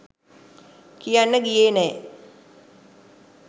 කියන්න ගියෙ නෑ